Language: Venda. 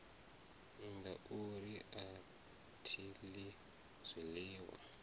ngauri a thi ḽi zwiḽiwa